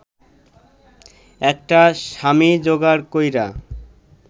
একটা স্বামী জোগাড় কইরা